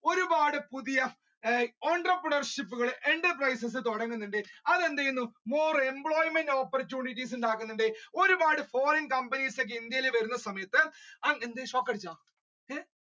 ഒരുപാട് പുതിയ entrepreneurship കൾ enterprise കൾ തുടങ്ങുന്നുണ്ട് അത് more employment ഉണ്ടാക്കുന്നുണ്ട് ഒരുപാട് foreign companies ഇന്ത്യയിൽ വരുന്ന സമയത്ത്